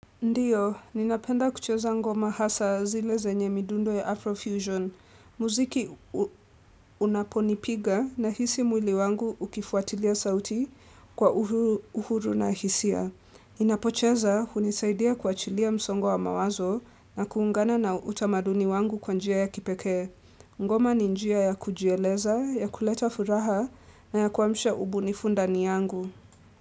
Ndiyo, ninapenda kucheza ngoma hasa zile zenye midundo ya Afrofusion. Muziki unaponipiga na hisia mwili wangu ukifuatilia sauti kwa uhuru na hisia. Ninapocheza unisaidia kuachilia msongo wa mawazo na kuungana na utamaduni wangu kwa njia ya kipeke. Ngoma ni njia ya kujieleza, ya kuleta furaha na ya kuwamsha ubunifu ndani yangu.